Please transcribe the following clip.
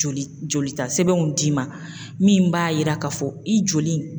Joli jolita sɛbɛnw d'i ma, min b'a yira k'a fɔ i joli in